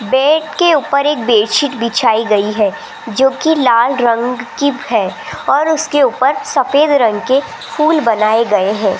Bed के ऊपर एक बेड शीट बिछाई गई है जो की लाल रंग की है और उसके ऊपर सफेद रंग के फूल बनाए गए हैं।